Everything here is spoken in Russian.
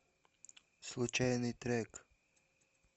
случайный трек